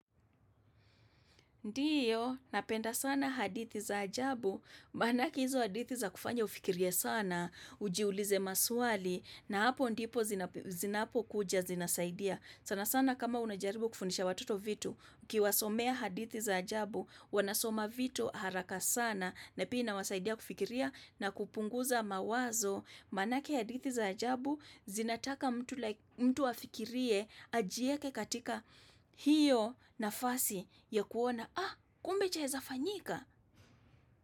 Ndiyo, napenda sana hadithi za ajabu, maanake hizo hadithi zakufanya ufikirie sana, ujiulize maswali, na hapo ndipo zinapokuja zinasaidia. Sana sana kama unajaribu kufundisha watoto vitu, ukiwasomea hadithi za ajabu, wanasoma vitu haraka sana, na pia inawasaidia kufikiria na kupunguza mawazo. Manake hadithi za ajabu zinataka mtu afikirie ajieke katika hiyo nafasi ya kuona, ah kumbe chaeza fanyika?